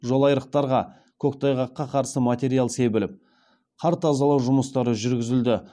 жолайырықтарға көктайғаққа қарсы материалдар себіліп қар тазалау жұмыстары жүргізілді